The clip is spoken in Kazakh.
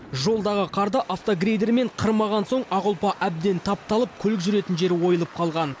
жолдағы қарды автогрейдермен қырмаған соң ақ ұлпа әбден тапталып көлік жүретін жері ойылып қалған